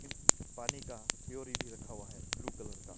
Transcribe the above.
इम पानी का प्योरी भी रखा हुआ है ब्लू कलर का।